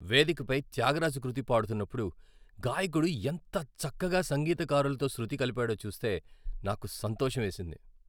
వేదికపై త్యాగరాజ కృతి పాడుతున్నప్పుడు గాయకుడు ఎంత చక్కగా సంగీతకారులతో శృతి కలిపాడో చూస్తే నాకు సంతోషం వేసింది.